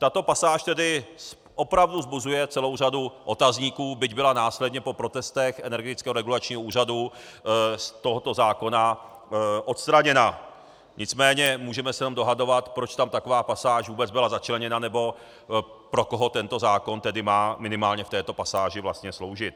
Tato pasáž tedy opravdu vzbuzuje celou řadu otazníků, byť byla následně po protestech Energetického regulačního úřadu z tohoto zákona odstraněna, nicméně můžeme se jenom dohadovat, proč tam taková pasáž vůbec byla začleněna nebo pro koho tento zákon tedy má minimálně v této pasáži vlastně sloužit.